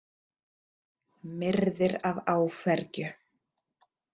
Myrðir af áfergju.